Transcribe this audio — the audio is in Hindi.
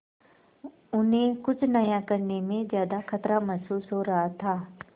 उन्हें कुछ नया करने में ज्यादा खतरा महसूस हो रहा था